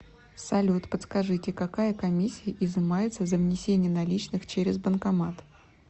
салют подскажите какая комиссия изымается за внесение наличных через банкомат